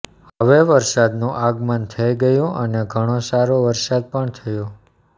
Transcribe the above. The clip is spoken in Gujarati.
હવે વરસાદ નું આગમન થઈ ગયું અને ઘણો સારો વરસાદ પણ થયો